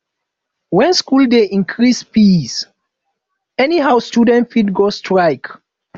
when school dey increase fees anyhow students fit go strike